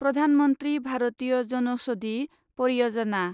Pradhan Mantri Bharatiya Janaushadhi Pariyojana’